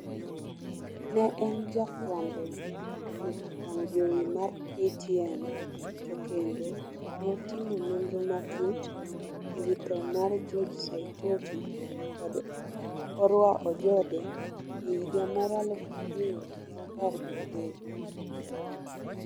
Ne en jafwambo, e wang' jowi mar ktn. To kendo, notimo nondro matut ewi tho mar George Saitoti kod Orwa Ojode, e higa mar aluf ariyo gi apar gadek